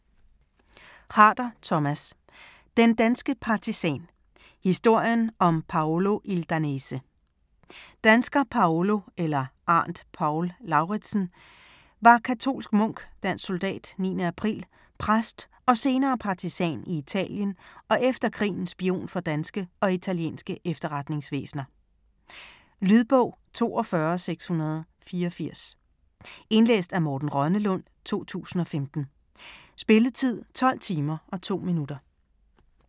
Harder, Thomas: Den danske partisan: historien om Paolo il danese Dansker Paolo eller Arndt Paul Lauritzen (1915-1978) var katolsk munk, dansk soldat 9. april, præst og senere partisan i Italien, og efter krigen spion for danske og italienske efterretningsvæsner. Lydbog 42684 Indlæst af Morten Rønnelund, 2015. Spilletid: 12 timer, 2 minutter.